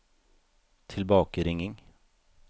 tilbakeringing